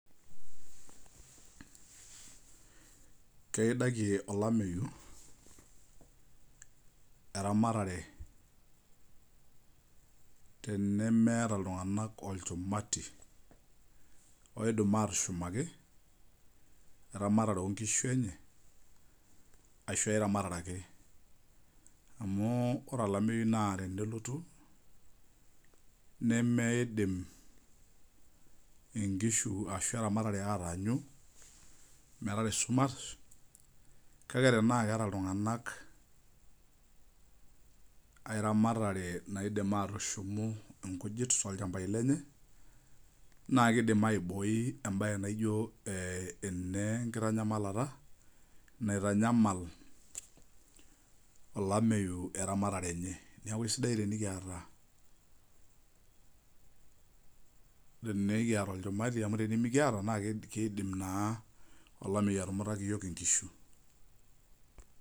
Keidaki olameyu eramatare tenemeeta ltunganak olchumati oidim atushumali eramatare enyeashu eramatare ake amu ore olameyu na twnelotu nemeidim eramatare ataanyu metaara esumash kake tenaa keeta ltunganak aai ramatare naidim atishumu nkujit tiatua eramatare enye nakidim enenkitanyamala naitanyamal olameyu eramatare enye na kesidai tenikiata olchumati amu tenemekiata kidim na olameyu atumutaki yiok nkishu.